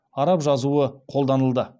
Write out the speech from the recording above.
араб жазуы қолданылды